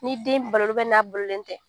Ni den balolen n'a bololen tɛ